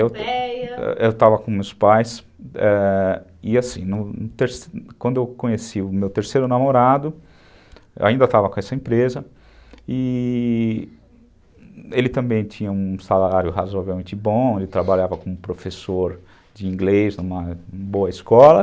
Eu estava com meus pais e assim, quando eu conheci o meu terceiro namorado, eu ainda estava com essa empresa e ele também tinha um salário razoavelmente bom, ele trabalhava como professor de inglês numa boa escola.